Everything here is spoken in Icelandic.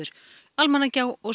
Almannagjá og